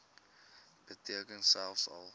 beteken selfs al